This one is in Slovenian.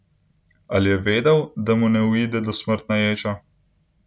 Ali je vedel, da mu ne uide dosmrtna ječa?